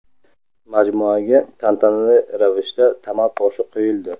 Majmuaga tantanali ravishda tamal toshi qo‘yildi.